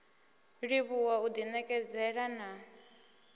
livhuwa u ḓi ṋekedzela na